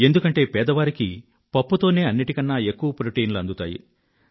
ఎందుకంటే పేదవారికి పప్పు తోనే అన్నింటికన్నా ఎక్కువ ప్రోటీన్లు అందుతాయి